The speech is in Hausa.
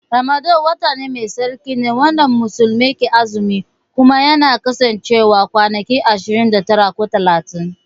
Ramadan wata Mai tsarki ne wanda muslimai ke azumi Kuma yana kasancewa kwanaki ashirin da tara ko talatin.